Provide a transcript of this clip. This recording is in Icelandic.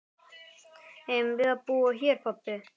Eigum við að búa hér pabbi?